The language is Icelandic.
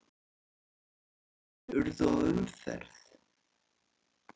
Einhverjar tafir urðu á umferð